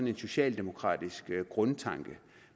en socialdemokratisk grundtanke